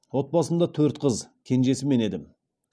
отбасымда төрт қыз кенжесі мен едім